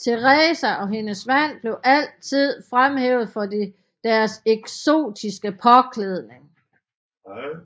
Teresa og hendes mand blev altid fremhævet for deres eksotiske påklædning